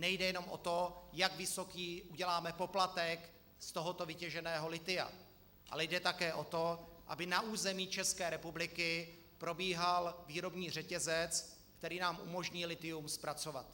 Nejde jenom o to, jak vysoký uděláme poplatek z tohoto vytěženého lithia, ale jde také o to, aby na území České republiky probíhal výrobní řetězec, který nám umožní lithium zpracovat.